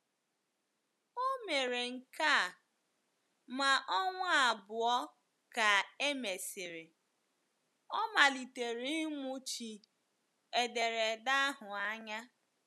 O mere nke a, ma ọnwa abụọ ka e mesịrị, ọ malitere ịmụchi ederede ahụ anya.